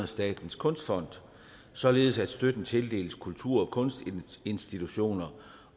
statens kunstfond således at støtten tildeles kultur og kunstinstitutioner